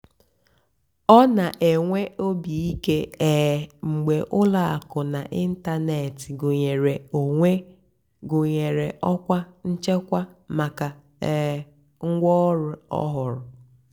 ọ́ nà-ènwé óbì íké um mgbe ùlọ àkụ́ n'ị́ntánètị́ gụ́nyeré ọ́kwá nchèkwà màkà um ngwáọ̀rụ́ ọ́hụ́rụ́.